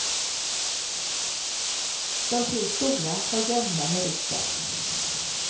De tre stora har gamla meriter.